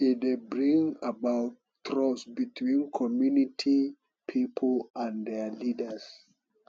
e dey bring about trust between community pipo and their leaders